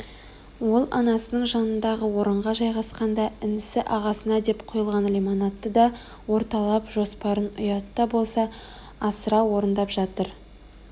ол анасының жанындағы орынға жайғасқанда інісі ағасына деп құйылған лимонадты да орталап жоспарын ұят та болса асыра орындап жатыр